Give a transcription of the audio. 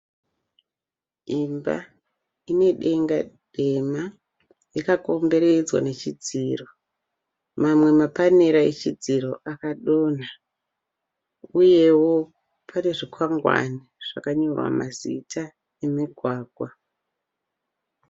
Imba ine denga dema yakakomberedzwa nechidziro . Mamwe mapanera echidziro akadhonha. Uyewo pane zvikwangwani zvakanyorwa mazita emugwagwa.